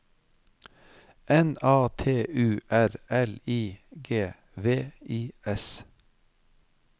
N A T U R L I G V I S